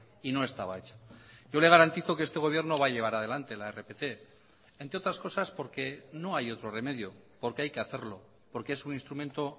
y no estaba hecha yo le garantizo que este gobierno va a llevar adelante la rpt entre otras cosas porque no hay otro remedio porque hay que hacerlo porque es un instrumento